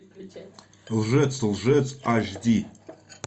лжец лжец аш ди